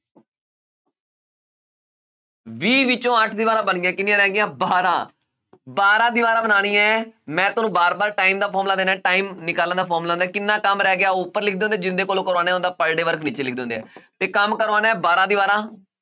ਵੀਹ ਵਿੱਚੋਂ ਅੱਠ ਦੀਵਾਰਾਂ ਬਣ ਗਈਆਂ ਕਿੰਨੀਆਂ ਰਹਿ ਗਈਆਂ ਬਾਰਾਂ ਬਾਰਾਂ ਦੀਵਾਰਾਂਂ ਬਣਾਉਣੀਆਂ ਹੈ ਮੈਂ ਤੁਹਾਨੂੰ ਵਾਰ ਵਾਰ time ਦਾ formula time ਨਿਕਾਲਣ ਦਾ formula ਹੁੰਦਾ ਹੈ ਕਿੰਨਾ ਕੰਮ ਰਹਿ ਗਿਆ ਉਹ ਉੱਪਰ ਲਿਖ ਜਿੰਨੇ ਦੇ ਕੋਲੋਂ ਕਰਵਾਉਣਾ ਉਹਦਾ per day work ਨੀਚੇ ਲਿਖ ਦਿੰਦੇ ਹੈ ਤੇ ਕੰਮ ਕਰਵਾਉਣਾ ਹੈ ਬਾਰਾਂ ਦੀਵਾਰਾਂ